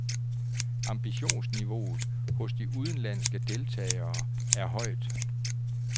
Ambitionsniveauet hos de udenlandske deltagere er højt.